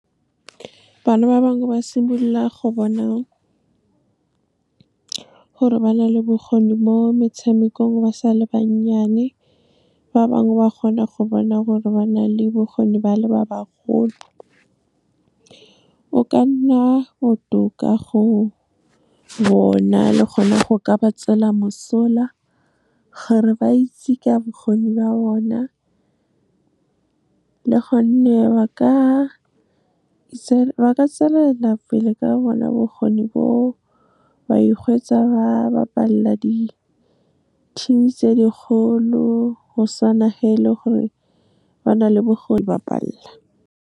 Bana ba bangwe ba simolola go bona gore ba na le bokgoni mo metshamekong ba sa le bannyane, ba bangwe ba kgona go bona gore ba na le bokgoni ba le ba ba golo. Go ka nna botoka go bona, le gona go ka ba tswela mosola gore ba itse ka bokgoni ba bona, le gonne ba ka tswelela pele ka bona bokgoni bo o ba ihwetša, ba bapalla di-team-e tse dikgolo, go sa e le gore ba na le go e bapalla.